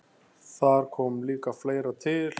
Þar kom líka fleira til.